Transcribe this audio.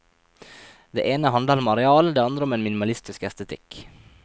Det ene handler om areal, det andre om en minimalistisk estetikk.